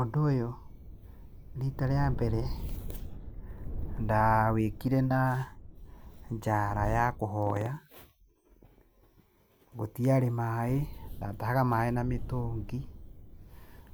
Ũndũ ũyũ rita rĩa mbere ndawĩkire na njaara ya kũhoya. Gũtiarĩ maĩ, ndatahaga maĩ na mĩtũngi.